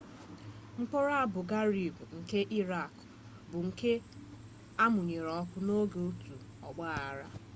mkpọrọ abu ghraib nke irakị bụ nke amụnyere ọkụ n'oge otu ogbaaghara